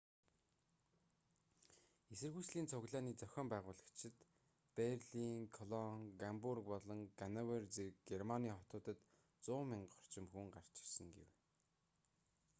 эсэргүүцлийн цуглааны зохион байгуулагчид берлин колон гамбург болон гановер зэрэг германы хотуудад 100,000 орчим хүн гарч ирсэн гэв